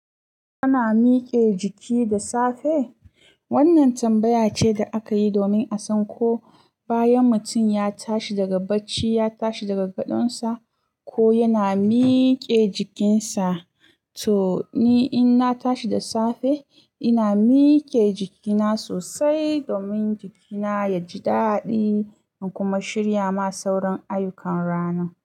Ana mike jiki da safe? Wannan tambaya ce da aka yi domin a san ko bayan mutum ya tashi daga bacci, ya tashi daga gadonsa ko yana mike jikinsa. To ni in na tashi da safe, ina mike jikina sosai domin jikina ya ji daɗi in kuma shirya ma sauran ayyukan ranan.